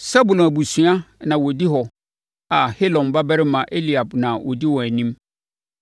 Sebulon abusuakuo na wɔdi hɔ a Helon babarima Eliab na ɔdi wɔn anim.